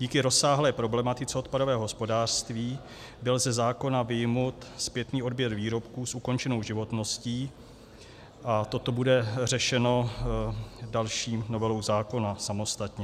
Díky rozsáhlé problematice odpadového hospodářství byl ze zákona vyjmut zpětný odběr výrobků s ukončenou životností a toto bude řešeno další novelou zákona samostatně.